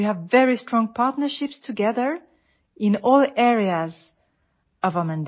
യുനെസ്കോയ്ക്കും ഇന്ത്യയ്ക്കും ഒരു നീണ്ട പൊതു ചരിത്രമുണ്ട്